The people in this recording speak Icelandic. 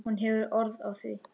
Hún hefur orð á því.